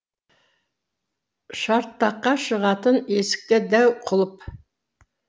шартаққа шығатын есікте дәу құлып